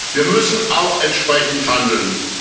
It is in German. Wir müssen auch entsprechend handeln.